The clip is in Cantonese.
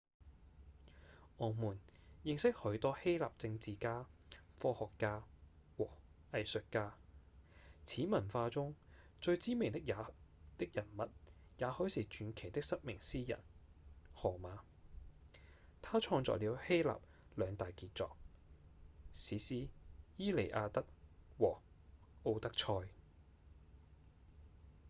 我們認識許多希臘政治家、科學家和藝術家；此文化中最知名的人物也許是傳奇的失明詩人—荷馬他創作了希臘兩大傑作：史詩《伊利亞德》和《奧德賽》